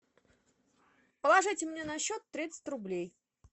положите мне на счет тридцать рублей